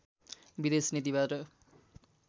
विदेश नीतिबाट